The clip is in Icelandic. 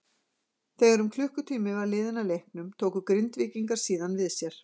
Þegar um klukkutími var liðinn af leiknum tóku Grindvíkingar síðan við sér.